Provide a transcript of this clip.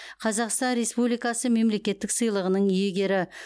қазақстан республикасы мемлекеттік сыйлығының иегері